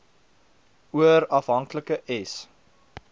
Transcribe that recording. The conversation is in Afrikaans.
oor afhanklike s